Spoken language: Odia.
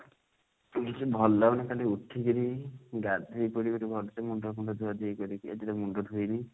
seriously ଭଲ ଲାଗୁନି ଖାଲି ଉଠିକିରି ଗାଧେଇ ପଡି ଗୋଟେ ଭଲ ସେ ମୁଣ୍ଡ ଫୁଣ୍ଡ ଧୁଆ ଧୁଇ କରିକି ଆଜି ଦେଖୁନ ମୁଣ୍ଡ ଧୋଇନି